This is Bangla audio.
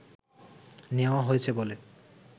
নেওয়া হয়েছে বলে